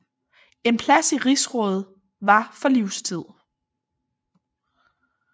En plads i rigsrådet var for livstid